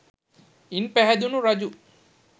ඉන් පහැදැනුණු රජු